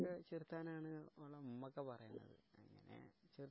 ചേർത്താനാണ് ഓളെ ഉമ്മ ഒക്കെ പറയുന്നത്